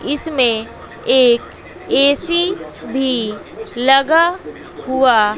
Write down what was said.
इसमें एक ए_सी भी लगा हुआ--